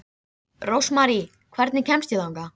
Rósmarý, hvernig kemst ég þangað?